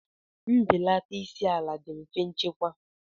Mbelata isi ala dị mfe ịchekwa.